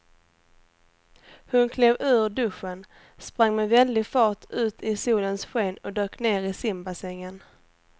Hon klev ur duschen, sprang med väldig fart ut i solens sken och dök ner i simbassängen.